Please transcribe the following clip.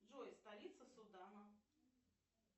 джой столица судана